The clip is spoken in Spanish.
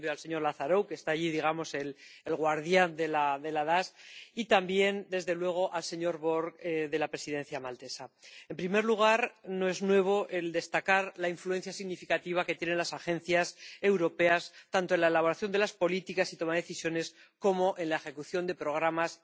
También al señor Lazarou, el —digamos— guardián de la DAS, y también, desde luego, al señor Borg, de la Presidencia maltesa. En primer lugar, no es nuevo destacar la influencia significativa que tienen las agencias europeas tanto en la elaboración de las políticas y en la toma de decisiones como en la ejecución de programas.